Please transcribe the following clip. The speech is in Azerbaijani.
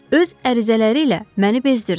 Öz ərizələri ilə məni bezdirdi.